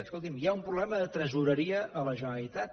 escolti’m hi ha un problema de tresoreria a la generalitat